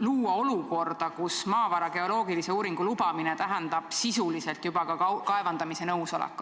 luua olukorda, kus maavara geoloogilise uuringu lubamine tähendab sisuliselt juba ka nõusolekut kaevandamisega.